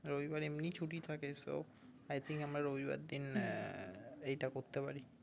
রবিবার এমনি ছুটি থাকে soy think আমরা রবিবার দিন আহ এইটা করতে পারি